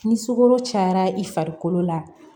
Ni sukaro cayara i farikolo la